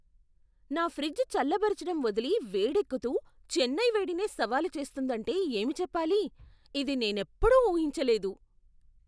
నా ఫ్రిజ్ చల్లబరచడం వదిలి వేడెక్కుతూ చెన్నై వేడినే సవాలు చేస్తుందంటే ఏమి చెప్పాలి! ఇది నేనెప్పుడూ ఊహించలేదు!